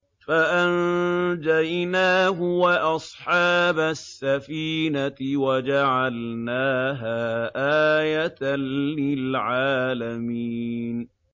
فَأَنجَيْنَاهُ وَأَصْحَابَ السَّفِينَةِ وَجَعَلْنَاهَا آيَةً لِّلْعَالَمِينَ